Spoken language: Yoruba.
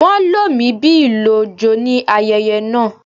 Wón lo mí bí ìlò ojo ní ayẹyẹ náà.